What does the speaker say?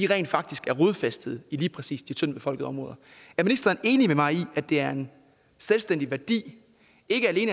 rent faktisk er rodfæstet i lige præcis de tyndtbefolkede områder er ministeren enig med mig i at det er en selvstændig værdi